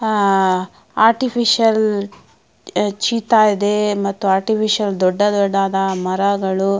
ಆಹ್ artificial ಚಿತಾ ಇದೆ ಮತ್ತು ಆರ್ಟಿಫಿಷಿಯಲ್ ದೊಡ್ಡ ದೊಡ್ಡದಾದ ಮರಗಳು.